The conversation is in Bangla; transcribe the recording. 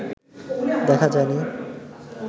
দেখা যায় নি